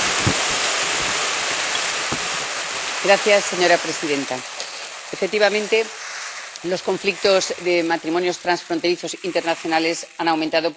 Señora presidenta, efectivamente, los conflictos de matrimonios transfronterizos internacionales han aumentado porque esta es una realidad que va en aumento.